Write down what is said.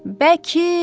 Bəkir!